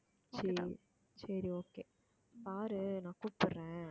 சரி சரி okay பாரு நான் கூப்பிடுறேன்